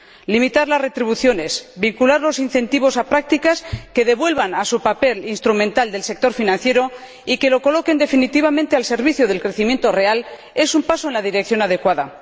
Limitar las retribuciones y vincular los incentivos a prácticas que devuelvan a su papel instrumental al sector financiero y que lo coloquen definitivamente al servicio del crecimiento real es un paso en la dirección adecuada.